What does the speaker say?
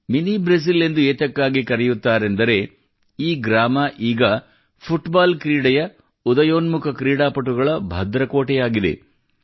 mini Brazil ಎಂದು ಏತಕ್ಕಾಗಿ ಕರೆಯುತ್ತಾರೆಂದರೆ ಈ ಗ್ರಾಮ ಈಗ ಫುಟ್ಬಾಲ್ ಕ್ರೀಡೆಯ ಉದಯೋನ್ಮುಕ ಕ್ರೀಡಾಪಟುಗಳ ಭದ್ರಕೋಟೆಯಾಗಿದೆ